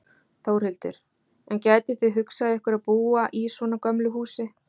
Þórhildur: En gætuð þið hugsað ykkur að búa í svona gömlu húsi?